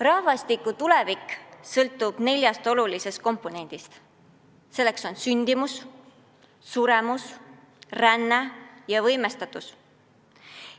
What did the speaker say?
Rahvastiku tulevik sõltub neljast olulisest komponendist: need on sündimus, suremus, ränne ja võimestatus.